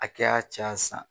Akɛya can sa.